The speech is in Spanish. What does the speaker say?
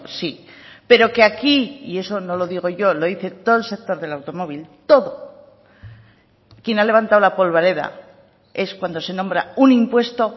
sí pero que aquí y eso no lo digo yo lo dice todo el sector del automóvil todo quien ha levantado la polvareda es cuando se nombra un impuesto